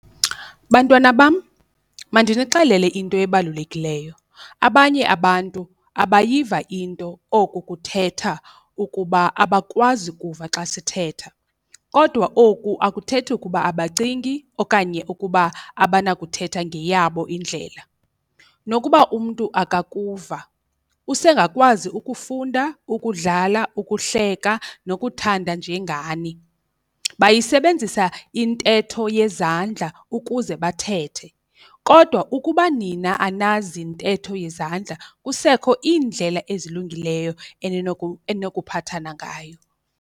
Bantwana bam, mandinixelele into ebalulekileyo. Abanye abantu abayiva into, oku kuthetha ukuba abakwazi kuva xa sithetha. Kodwa oku akuthethi ukuba abacingi okanye ukuba abanakuthetha ngeyabo indlela. Nokuba umntu akakuva usengakwazi ukufunda, ukudlala, ukuhleka nokuthanda njengani. Bayisebenzisa intetho yezandla ukuze bathethe kodwa ukuba nina anazi ntetho yezandla kusekho iindlela ezilungileyo eninokuphathana ngayo.